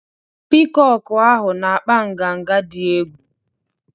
Piikọkụ ahụ na-akpa nganga dị egwu.